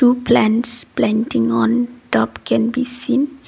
two plants planting on top can be seen.